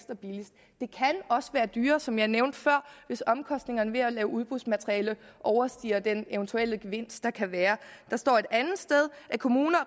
også være dyrere som jeg nævnte før hvis omkostningerne ved at lave udbudsmateriale overstiger den eventuelle gevinst der kan være der står et andet sted at kommuner